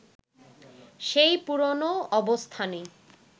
সেই পুরনো অবস্থানই